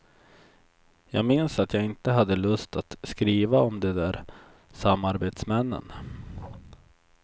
Jag minns att jag inte hade lust att skriva om de där samarbetsmännen.